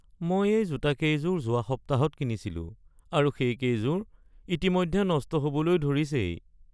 মই এই জোতাকেইযোৰ যোৱা সপ্তাহত কিনিছিলোঁ আৰু সেইকেইযোৰ ইতিমধ্যে নষ্ট হবলৈ ধৰিছেই। (গ্ৰাহক)